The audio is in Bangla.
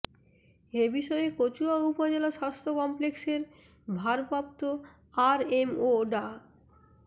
এ বিষয়ে কচুয়া উপজেলা স্বাস্থ্য কমপ্লেক্সের ভারপ্রাপ্ত আরএমও ডা